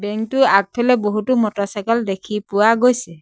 Bank টোৰ আগফালে বহুতো মটৰচাইকেল দেখি পোৱা গৈছে।